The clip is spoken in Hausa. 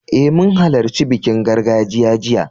Eh, mun halarci bikin gargajiya jiya.